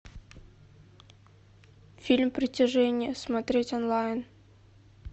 фильм притяжение смотреть онлайн